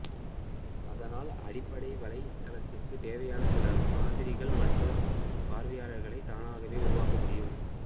அதனால் அடிப்படை வலைத்தளத்துக்குத் தேவையான சில மாதிரிகள் மற்றும் பார்வைகளைத் தானாகவே உருவாக்க முடியும்